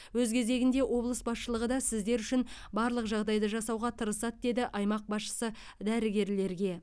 өз кезегінде облыс басшылығы да сіздер үшін барлық жағдайды жасауға тырысады деді аймақ басшысы дәрігерлерге